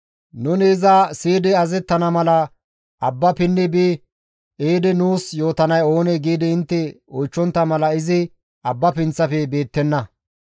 «Nuni iza siyidi azazettana mala abba pinni bi ehidi nuus yootanay oonee?» giidi intte oychchontta mala izi abba pinththafe beettenna.